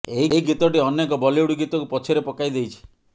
ଏହି ଗୀତଟି ଅନେକ ବଲିଉଡ୍ ଗୀତକୁ ପଛରେ ପକାଇ ଦେଇଛି